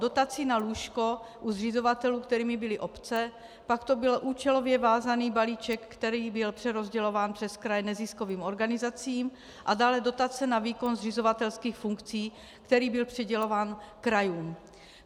Dotací na lůžko u zřizovatelů, kterými byly obce, pak to byl účelově vázaný balíček, který byl přerozdělován přes kraje neziskovým organizacím, a dále dotace na výkon zřizovatelských funkcí, který byl přidělován krajům.